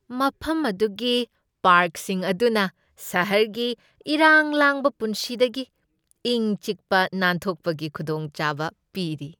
ꯃꯐꯝ ꯑꯗꯨꯒꯤ ꯄꯥꯔꯛꯁꯤꯡ ꯑꯗꯨꯅ ꯁꯍꯔꯒꯤ ꯏꯔꯥꯡ ꯂꯥꯡꯕ ꯄꯨꯟꯁꯤꯗꯒꯤ ꯏꯪ ꯆꯤꯛꯄ ꯅꯥꯟꯊꯣꯛꯄꯒꯤ ꯈꯨꯗꯣꯡꯆꯥꯕ ꯄꯤꯔꯤ꯫